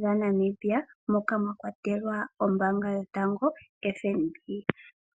dha Namibia, moka mwa kwatelwa ombaanga yotango yopashigwana.